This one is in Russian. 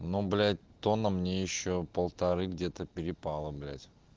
ну блять тонна мне ещё полторы где-то перепало блять